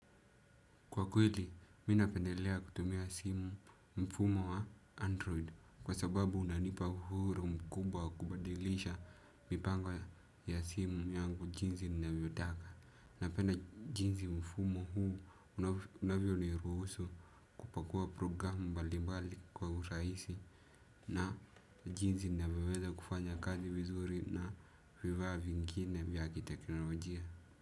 Kwa kweli, mi napendelea kutumia simu mfumo wa android kwa sababu unanipa huru mkubwa kubadilisha mipango ya simu yangu jinsi ninavyo taka. Napenda jinzi mfumo huu unavyo niruhusu kupakua programu bali bali kwa uraisi na jinzi ninavyo weza kufanya kazi vizuri na vivaa vingine vya kiteknolojia.